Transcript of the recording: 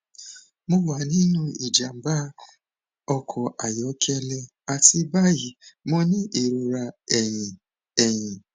mo wa ninu ijamba ọkọ ayọkẹlẹ ati bayi mo ni irora ẹhin ẹhin